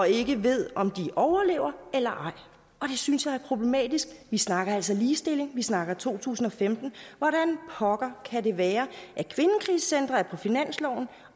ikke ved om de overlever eller ej og det synes jeg er problematisk vi snakker altså ligestilling vi snakker to tusind og femten hvordan pokker kan det være at kvindekrisecentre er på finansloven